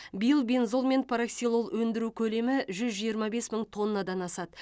биыл бензол мен параксилол өндіру көлемі жүз жиырма бес мың тоннадан асады